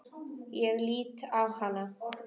Ég lít á hana.